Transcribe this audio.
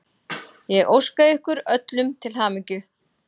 Ég óska ykkur öllum til hamingju.